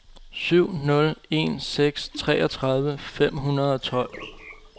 syv nul en seks treogtredive fem hundrede og tolv